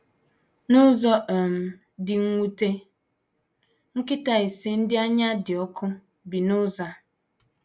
N’ụzọ um dị mwute, nkịta ise ndị anya dị ọkụ bi n’ụzọ a.